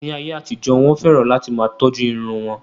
Ní ayé àtijó, Wọ́n fẹ́ràn láti máa tọ́jú irun wọn.